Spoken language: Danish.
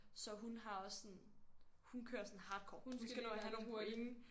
Så hun har også sådan hun kører sådan hardcore. Hun skal nå at have nogle point